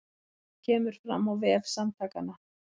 Þetta kemur fram á vef Samtakanna